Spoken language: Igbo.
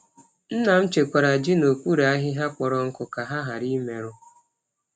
Nna m chekwara ji n’okpuru ahịhịa kpọrọ nkụ ka ha ghara imerụ.